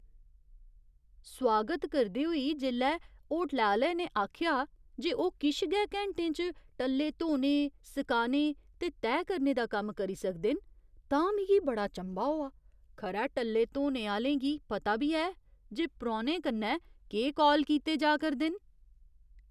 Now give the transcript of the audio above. सोआगत करदे होई जेल्लै होटलै आह्‌ले ने आखेआ जे ओह् किश गै घैंटें च टल्ले धोने , सकाने ते तैह् करने दा कम्म करी सकदे न तां मिगी बड़ा चंभा होआ । खरै टल्ले धोने आह्‌लें गी पता बी ऐ जे परौह्‌नें कन्नै केह् कौल कीते जा करदे न ।